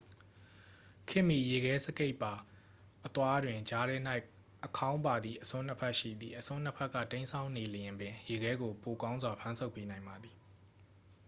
ခေတ်မီ ရေခဲစကိတ်ပါ အသွားတွင် ကြားထဲ၌ အခေါင်းပါသည့် အစွန်းနှစ်ဖက် ရှိသည် အစွန်းနှစ်ဖက်က တိမ်းစောင်းနေလျှင်ပင် ရေခဲကို ပိုကောင်းစွာ ဖမ်းဆုပ်ပေးနိုင်ပါသည်